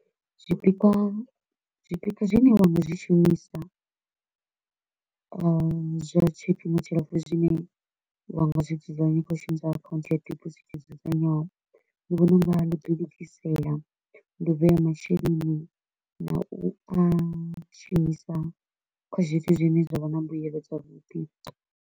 Zwipikwa zwipikwa zwine wa nga zwi shumisa zwa tshifhinga tshilapfu zwine wa nga zwi dzudzanya kha u shumisa account ya debosit yo dzudzanywaho, ndi vhona u nga ndi u ḓi lugisela, ndi u vhea masheleni na u a shumisa kha zwithu zwine zwa vha na mbuelo dza vhuḓi.